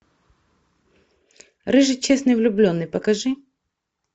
рыжий честный влюбленный покажи